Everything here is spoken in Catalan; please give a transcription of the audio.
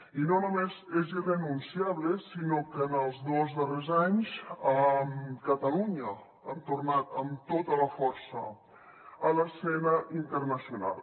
i no només és irrenunciable sinó que en els dos darrers anys catalunya hem tornat amb tota la força a l’escena internacional